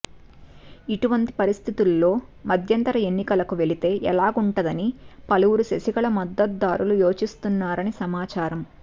ఇటువంటి పరిస్ధితిల్లో మధ్యంతర ఎన్నికలకు వెళితే ఎలాగుంటుందని పలువురు శశికళ మద్దతుదారులు యోచిస్తున్నారని సమాచారం